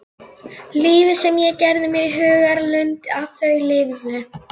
Lífið sem ég gerði mér í hugarlund að þau lifðu.